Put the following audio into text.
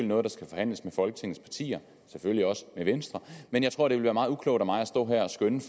noget der skal forhandles med folketingets partier og selvfølgelig også med venstre men jeg tror det ville være meget uklogt af mig at stå her og skønne